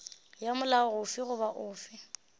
ya molao ofe goba ofe